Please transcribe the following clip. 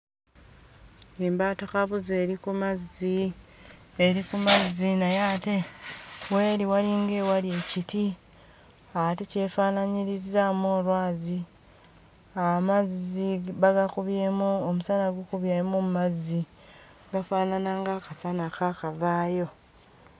Embaatakabuzi eri ku mazzi, eri ku mazzi naye ate w'eri walinga ewali ekiti ate kyefaanaanyirizzaamu olwazi. Amazzi bagakubyemu omusana gukubyemu mu mazzi, gafaanana ng'akasana akaakavaayo.